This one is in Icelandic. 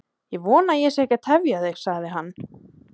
Ég vona að ég sé ekki að tefja þig, sagði hann.